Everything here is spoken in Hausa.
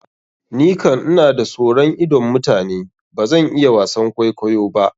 Ni kan ina da soron idon mutane, bazan iya wasan kwaikwayo ba.